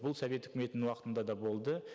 бұл совет үкіметінің уақытында да болды